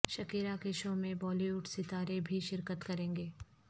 Shakira کے شو میں بالی وڈ ستارے بھی شرکت کریں گے